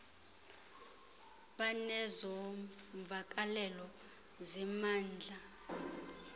banezo mvakalelo zimandla